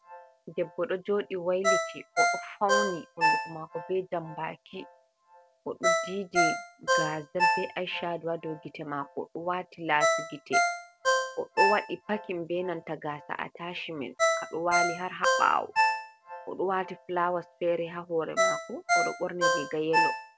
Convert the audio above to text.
Ɗebbo do jodi wailiti oɗo fauni hunɗu ko mako be jambaki odo didi gazal be ashaɗo ha dow gite mako odo wati lasi gite oɗo wadi pakin be nanta gasa’ata shimen ka do wali har ha bawo odo wati fulawas feri ha hore mako oɗo ɓorni riga yelo.